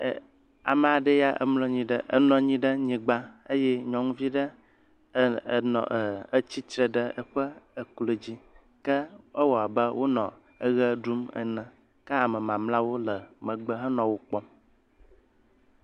e amaɖeɛ ya emlɔnyi enɔnyi ɖa nyigbã eye nyɔŋuviɖe e enɔ etsitre ɖe eƒe eklo dzi ke ewɔbe enɔ eɣe ɖum ene ke ame mamliawo le megbe henɔ wókpɔm